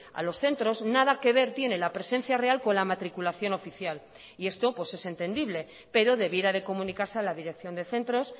a los centros nada que ver tiene la presencia real con la matriculación oficial y esto pues es entendible pero debiera de comunicarse a la dirección de centros